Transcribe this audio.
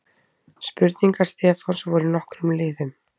Spurningar Stefáns voru í nokkrum liðum.